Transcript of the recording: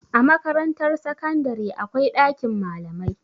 A Makarantar sakandare akwai ɗakin malamai.